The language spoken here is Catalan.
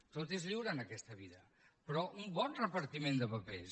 tot és lliure en aquesta vida però un bon repartiment de papers